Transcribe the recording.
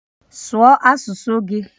Sụọ asụsụ gị!